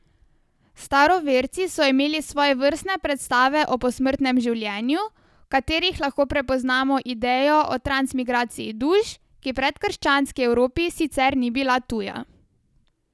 Staroverci so imeli svojevrstne predstave o posmrtnem življenju, v katerih lahko prepoznamo idejo o transmigraciji duš, ki predkrščanski Evropi sicer ni bila tuja.